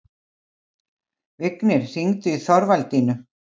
Vignir, hringdu í Þorvaldínu.